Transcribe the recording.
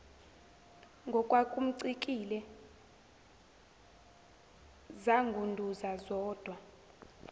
ngokwakumcikile zangunduza zodwa